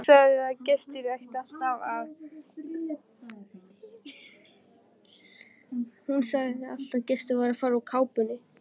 Hún sagði að gestir ættu alltaf að fara úr kápunni.